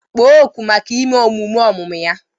Kpọọ oku maka ime emume ọmụmụ ya!